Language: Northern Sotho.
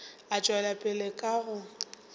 a tšwela pele ka go